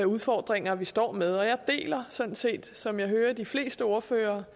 udfordringer vi står med jeg deler sådan set som jeg hører de fleste ordførere